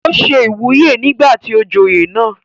ó se ìwúyè nígbà tí ó joyè náà